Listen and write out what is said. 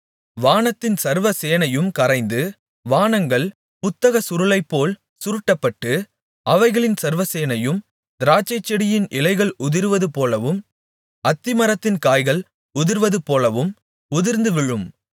வானத்தின் சர்வ சேனையும் கரைந்து வானங்கள் புத்தகச்சுருளைப்போல் சுருட்டப்பட்டு அவைகளின் சர்வசேனையும் திராட்சைச்செடியின் இலைகள் உதிர்வதுபோலவும் அத்திமரத்தின் காய்கள் உதிர்வதுபோலவும் உதிர்ந்து விழும்